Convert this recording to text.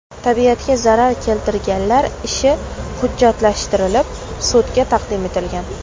Tabiatga zarar keltirganlar ishi hujjatlashtirilib, sudga taqdim etilgan.